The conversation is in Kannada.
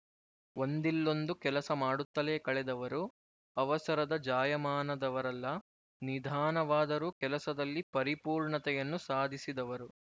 ಒಂದಿಲ್ಲೊಂದು ಕೆಲಸ ಮಾಡುತ್ತಲೇ ಕಳೆದವರು ಅವಸರದ ಜಾಯಮಾನದವರಲ್ಲ ನಿಧಾನವಾದರೂ ಕೆಲಸದಲ್ಲಿ ಪರಿಪೂರ್ಣತೆಯನ್ನು ಸಾಧಿಸಿದವರು